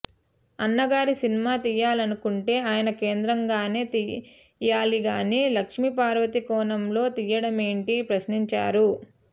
అన్నగారి సినిమా తీయాలనుకుంటే ఆయన కేంద్రంగానే తీయాలిగాని లక్ష్మీపార్వతి కోణంలో తీయడమేంటని ప్రశ్నించారు